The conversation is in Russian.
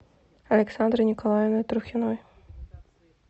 александрой николаевной трухиной